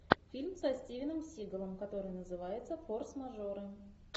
фильм со стивеном сигалом который называется форс мажоры